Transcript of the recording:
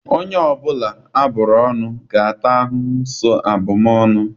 Onye ọbụla a bụrụ ọnụ ga-ata ahụhụ so abụmọnụ.